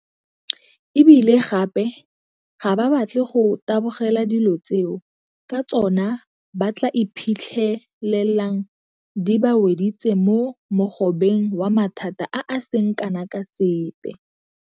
E bile gape ga ba batle go tabogela dilo tseo ka tsona ba tla iphitlhelang di ba weditse mo mogobeng wa mathata a a seng kana ka sepe.